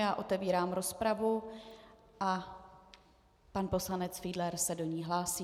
Já otevírám rozpravu a pan poslanec Fiedler se do ní hlásí.